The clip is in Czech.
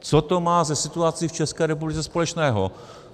Co to má se situací v České republice společného?